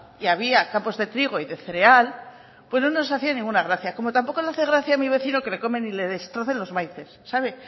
y había campos de trigo y de cereal pues no nos hacía ninguna gracia como tampoco le hace gracia a mi vecino que le comen y le destrocen los maíces sabe